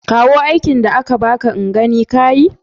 Kawo aikin da aka baka in gani ka yi.